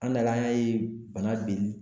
An nana an y'a ye bana bɛ yen